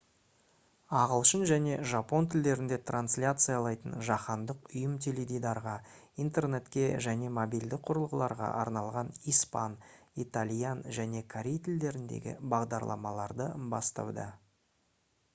ағылшын және жапон тілдерінде трансляциялайтын жаһандық ұйым теледидарға интернетке және мобильді құрылғыларға арналған испан итальян және корей тілдеріндегі бағдарламаларды бастауда